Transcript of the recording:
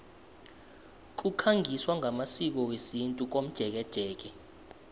kukhangiswa ngamasiko wesintu komjekejeke